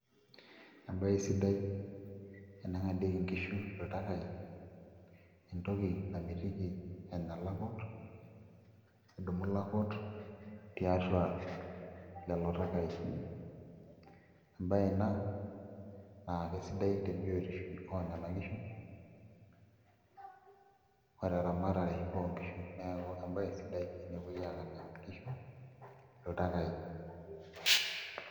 Embaye sidai eneng'adieki nkishu iltakaai entoki sidai namitiki enya ilakut, nidumu ilakut tiatua lelo takaai embaye ina naa kesidai te biotisho enena kishu oo teramatare sidai ookishu neeku embaye sidai enepuoi aang'adie nkishu iltakaai.